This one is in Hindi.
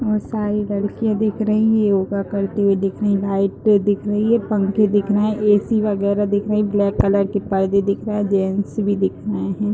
और सारी लड़किया दिख रही है। योगा करते हुए दिख रही है। व्हाइट पे दिख रही है। पंखे दिख रहे हैं। ए.सी वगेरा दिख रही है। ब्लैक कलर की पर्दे दिख रहे हैं। जेंट्स भी दिख रहे हैं।